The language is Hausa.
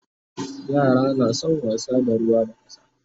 yara na San wasa da ruwa da ƙasa